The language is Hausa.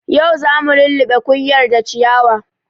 Yau zamu luluɓe kunƴar da ciyawa